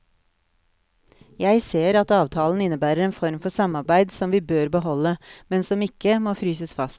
Jeg ser at avtalen innebærer en form for samarbeid som vi bør beholde, men som ikke må fryses fast.